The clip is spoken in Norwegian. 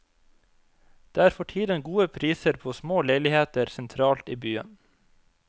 Det er for tiden gode priser på små leiligheter sentralt i byen.